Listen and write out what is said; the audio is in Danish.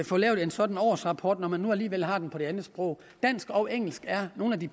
få lavet en sådan årsrapport når man nu alligevel har den på det andet sprog dansk og engelsk er nogle af de